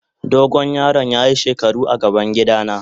Dogo yaron ya yi shekaru a gaban gida na.